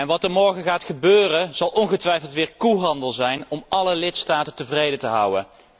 Wat er morgen gaat gebeuren, zal ongetwijfeld weer koehandel zijn om alle lidstaten tevreden te houden.